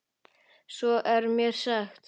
Svo er mér sagt.